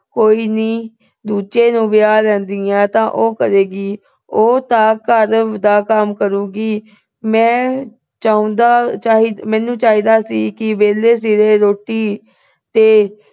ਕੋਈ ਨੀ। ਦੂਜੇ ਨੂੰ ਵਿਆਹ ਲੈਂਦੀ ਆ ਤਾਂ ਉਹ ਕਰੇਗੀ। ਅਹ ਉਹ ਤਾਂ ਘਰ ਦਾ ਕੰਮ ਕਰੂਗੀ। ਮੈਂ ਚਾਹੁੰਦਾ ਅਹ ਮੈਨੂੰ ਚਾਹੀਦਾ ਸੀ ਕਿ ਵੇਲੇ ਸਿਰੇ ਰੋਟੀ ਤੇ